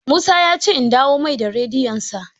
Musa ya ce in dawo mai da rediyon sa